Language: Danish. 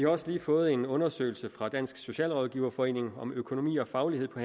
også lige fået en undersøgelse fra dansk socialrådgiverforening om økonomi og faglighed på